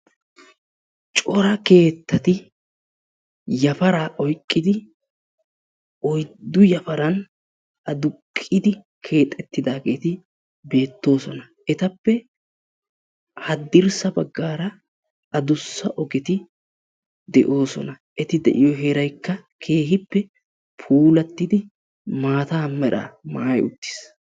Cora keettati yafaraa oyddu yafaran aduqqidi keexettidaageeti beettoosona. Etappe haddirssa baggaara adussa ogeti de'oosona. Eti de'iyo heerayikka keehippe puulattidi maata meraa maayi uttis.